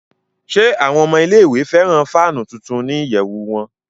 Ṣe awọn ọmọ ile-iwe fẹran faanu tuntun ni iyẹwu wọn?